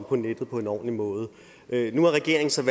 på nettet på en ordentlig måde nu har regeringen så i